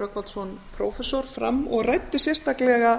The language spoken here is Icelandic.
rögnvaldsson prófessor fram og ræddi sérstaklega